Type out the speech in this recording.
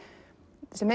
sem